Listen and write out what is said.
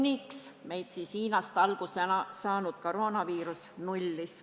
Seda seni, kuni Hiinast alguse saanud koroonaviirus selle prognoosi nullis.